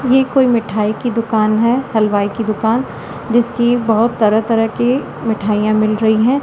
ये कोई मिठाई की दुकान है हलवाई की दुकान जिसकी बहोत तरह तरह की मिठाइयां मिल रही हैं।